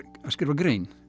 að skrifa grein